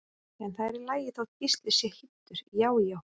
En það er í lagi þótt Gísli sé hýddur, já já!